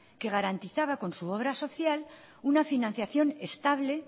que garantizaba con su obra social una financiación estable